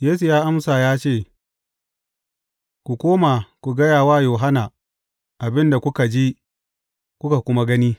Yesu ya amsa ya ce, Ku koma ku gaya wa Yohanna abin da kuka ji, kuka kuma gani.